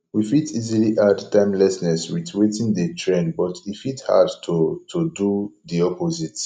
we fit easily add timelessness with wetin dey trend but e fit hard to to do di opposite